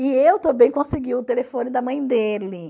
E eu também consegui o telefone da mãe dele.